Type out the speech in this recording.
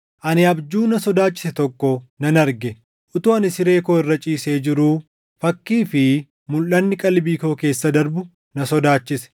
Ani abjuu na sodaachise tokko nan arge. Utuu ani siree koo irra ciisee jiruu fakkii fi mulʼanni qalbii koo keessa darbu na sodaachise.